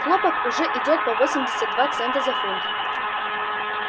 хлопок уже идёт по восемьдесят два цента за фунт